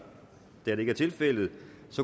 da det ikke er tilfældet